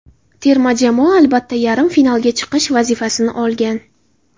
Terma jamoa albatta, yarim finalga chiqish vazifasini olgan.